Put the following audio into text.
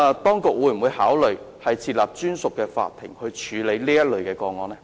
當局會否考慮設立專屬法庭處理此類個案？